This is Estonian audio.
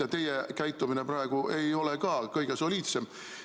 Ja teie enda käitumine praegu ei ole ka kõige soliidsem.